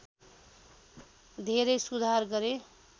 धेरै सुधार गरे